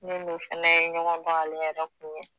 Ne ni o fana ɲɔgɔn dɔn ale yɛrɛ kun ye